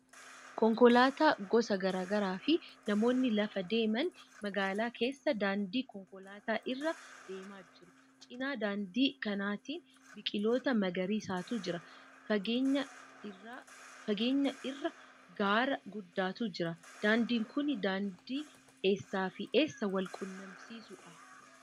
Konkolaattota gosa garaa garaafi namoonni lafa deeman magaalaa keessa daandii konkolaataa irra deemaa jiru. Cina daandii kanaatiin biqiloota magariisatu jira. Fageenya irra gaara guddaatu jira. Daandiin kun daandii eessaafi eessa wal quunnamsiisuudha?